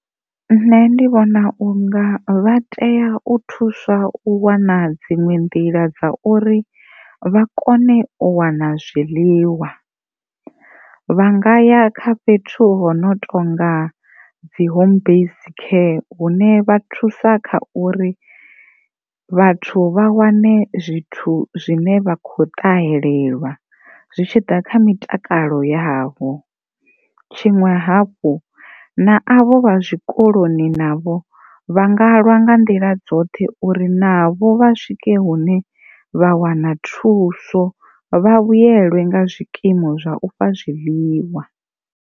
Nṋe ndi vhona u nga vha tea u thuswa u wana dziṅwe nḓila dza uri vha kone u wana zwiḽiwa vha nga ya kha fhethu hu no tonga dzi home base care huṋe vha thusa kha uri vha wane zwithu zwine vha kho ṱahelelwa zwi tshi ḓa kha mitakalo yavho, tshiṅwe hafhu na avho vha tshikoloni navho vha nga lwa nga nḓila dzoṱhe uri navho vha swike hune vha wana thuso vha vhuyelwa nga zwikimu zwa u fha zwiḽiwa.